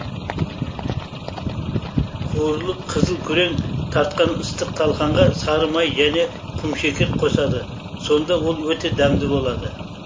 қуырылып қызыл күрең тартқан ыстық талқанға сары май және құмшекер қосады сонда ол өте дәмді болады